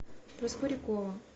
проскурякова